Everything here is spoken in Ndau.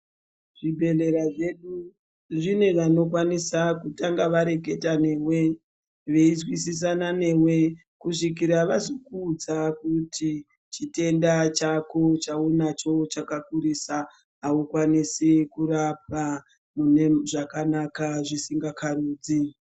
Zvibhehleya zvedu zvinevanokwanisa kutanga vareketa newe veinzwisisina newe kusvikara vazokuudza kuti chitenda chako chaunacho chakakurisa haukwanisi kurapwa munezvakanaka zvisingakarudzi.